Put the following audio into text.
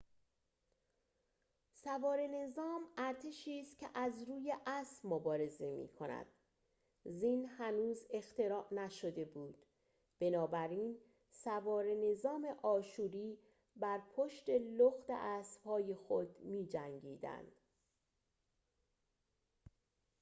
سواره نظام ارتشی است که از روی اسب مبارزه می‌کند زین هنوز اختراع نشده بود بنابراین سواره نظام آشوری بر پشت لخت اسبهای خود می‌جنگیدند